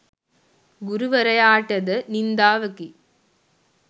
ගුරු වරයාටද නින්දාවකි.